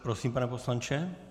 Prosím, pane poslanče.